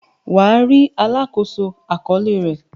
Wà á rí “ alákòóso àkọọ́lẹ̀” rẹ.